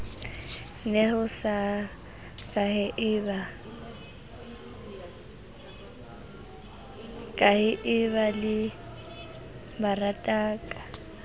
neho sa kahaeba le lerataka